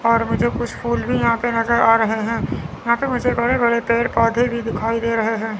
और मुझे कुछ फूल भी यहां पे नजर आ रहे हैं यहां पे मुझे बड़े बड़े पेड़ पौधे भी दिखाई दे रहे हैं।